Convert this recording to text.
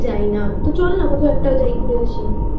যাই নি চল না কোথাও একটা যাই ঘুরে আসি।